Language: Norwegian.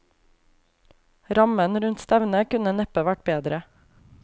Rammen rundt stevnet kunne neppe vært bedre.